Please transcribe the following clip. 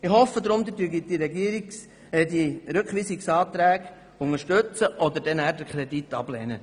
Ich hoffe deshalb, dass Sie den Rückweisungsantrag unterstützen oder den Kredit ablehnen.